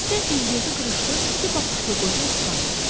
Xəstə üz-gözü qırışlı, iti baxışlı qoca İspan idi.